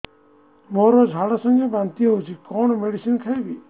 ମୋର ଝାଡା ସଂଗେ ବାନ୍ତି ହଉଚି କଣ ମେଡିସିନ ଖାଇବି